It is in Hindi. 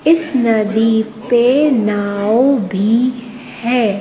इस नदी पे नाव भी है।